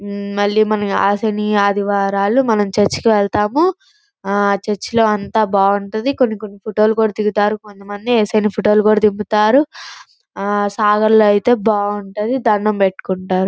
మ్మ్ మల్లి ఆ సినీ ఆదివారాలు చర్చికి మనము వెళ్తాము ఆ చర్చి లో అంత బాగుంటది కొన్ని కొన్ని ఫోటో లు కూడా దిగుతారు కొంత మంది ఏసు అయన ఫోటో లు కూడా దిగుతారు ఆ సాగర్ లో ఐతే బాగుంటది దణ్ణం పెట్టుకుంటారు.